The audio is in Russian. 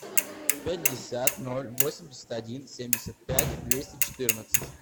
пятьдесят ноль восемьдесят один семьдесят пять двести четырнадцать